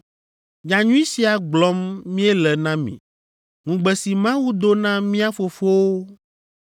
Nyanyui sia gblɔm míele na mi; ŋugbe si Mawu do na mía fofowo,